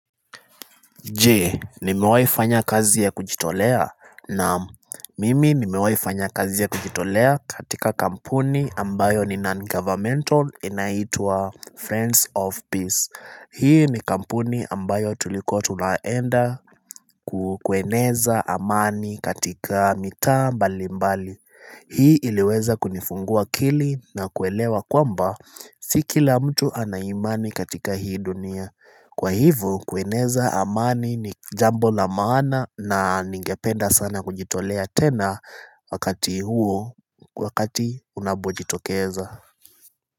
Jee nimewaifanya kazi ya kujitolea naam mimi nimewai fanya kazi ya kujitolea katika kampuni ambayo ni non-governmental inaitwa friends of peace Hii ni kampuni ambayo tulikuwa tunaenda ku kueneza amani katika mitaa mbali mbali Hii iliweza kunifungua akili na kuelewa kwamba si kila mtu anaimani katika hii dunia Kwa hivo kueneza amani ni jambo la maana na ningependa sana kujitolea tena wakati huo wakati unapojitokeza.